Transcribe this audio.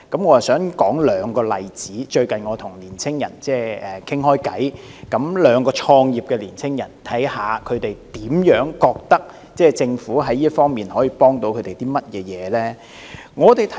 我想舉出兩個例子，因為我最近與兩名創業的青年人談話，從中得悉他們對政府在這方面所提供的協助的看法。